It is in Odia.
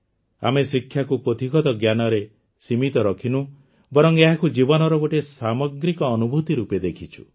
ଆମେ ଶିକ୍ଷାକୁ ପୋଥିଗତ ଜ୍ଞାନରେ ସୀମିତ ରଖିନୁ ବରଂ ଏହାକୁ ଜୀବନର ଗୋଟିଏ ସାମଗ୍ରିକ ଅନୁଭୂତି ରୂପେ ଦେଖିଛୁ